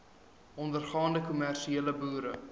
ondergaande kommersiële boere